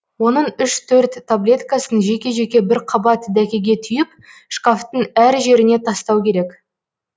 оның үш төрт таблеткасын жеке жеке бір қабат дәкеге түйіп шкафтың әр жеріне тастау керек